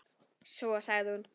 Svo sagði hún